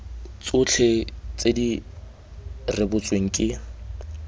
tsotlhe tse di rebotsweng ke